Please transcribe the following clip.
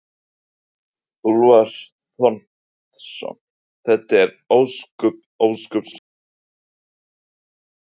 Úlfar Þormóðsson: Þetta er ósköp, ósköp svona kjánalegt, er það ekki?